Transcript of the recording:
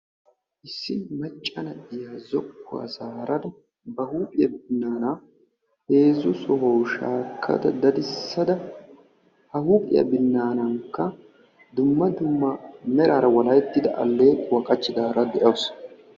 Issi macca na"iya zokkuwa zaarada ba huuphiya binnaanaa heezzu sohuwawu shaakkada dadissada ha huuphiya binnaanaanikka dumma dumma meraara walahettida alleequwa qachchidaara de'awusu.